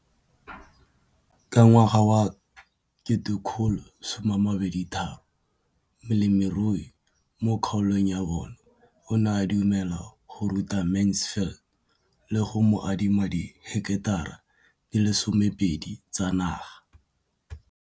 Ka ngwaga wa 2013, molemirui mo kgaolong ya bona o ne a dumela go ruta Mansfield le go mo adima di heketara di le 12 tsa naga.